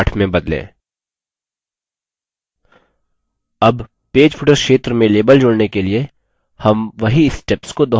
add page footer क्षेत्र में label जोड़ने के लिए हम वही steps को दोहराएँगे